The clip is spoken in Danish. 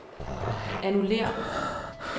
annullér